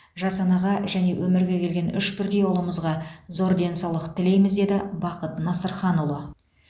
жас анаға және өмірге келген үш бірдей ұлымызға зор денсаулық тілейміз деді бақыт насырханұлы